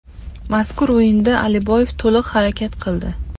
Mazkur o‘yinda Aliboyev to‘liq harakat qildi.